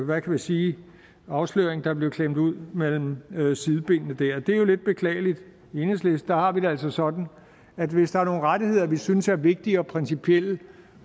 hvad kan vi sige afsløring der blev klemt ud mellem mellem sidebenene der det er jo lidt beklageligt i enhedslisten har vi det altså sådan at hvis der er nogle rettigheder vi synes er vigtige og principielle